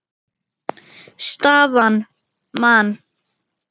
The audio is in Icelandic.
Staðan: Man.